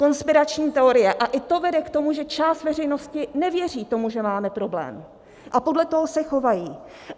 Konspirační teorie - a i to vede k tomu, že část veřejnosti nevěří tomu, že máme problém, a podle toho se chovají.